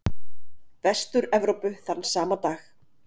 Vestur-Evrópu þann sama dag.